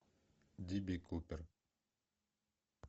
ди би купер